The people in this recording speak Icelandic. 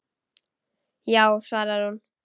Já, svarar hún.